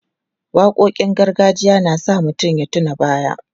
Waƙoƙin gargajiya na sa mutum ya tuna baya.